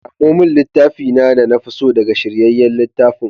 Samo min littafi na da na fi so daga shiryayyen littafin.